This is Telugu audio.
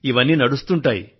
ఇవన్నీ నడుస్తుంటాయి